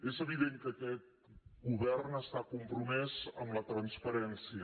és evident que aquest govern està compromès amb la transparència